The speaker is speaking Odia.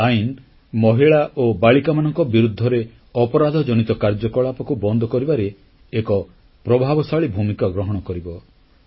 ଏହି ଆଇନ ମହିଳା ଓ ବାଳିକାମାନଙ୍କ ବିରୁଦ୍ଧରେ ଅପରାଧଜନିତ କାର୍ଯ୍ୟକଳାପକୁ ବନ୍ଦ କରିବାରେ ଏକ ପ୍ରଭାବଶାଳୀ ଭୂମିକା ଗ୍ରହଣ କରିବ